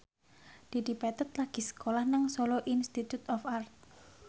Dedi Petet lagi sekolah nang Solo Institute of Art